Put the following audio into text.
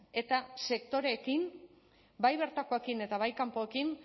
eta sektoreekin bai bertakoekin eta bai kanpoekin